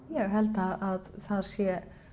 ég held að það sé